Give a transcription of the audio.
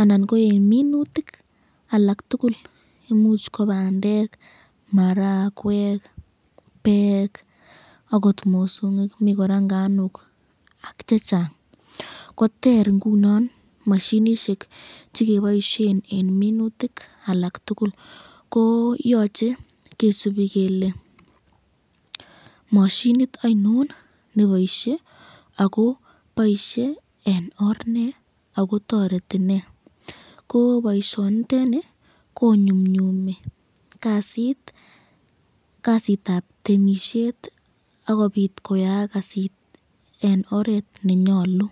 anan ko eng minutik alak tukul, imuch ko bandek, marakwek, beek akot mosongik ,mi kora nganik ak chechang ko ter ngunon mashinishek chekiboisyen eng minutik alak tukul ,ko yoche kisubi kele mashinit ainon neboisye ako boisye eng or nee akotoreti nee, ko boisyoniteni konyumnyumit kasitab temisyet akobit koyaak kasit eng oret nenyalu.